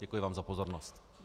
Děkuji vám za pozornost.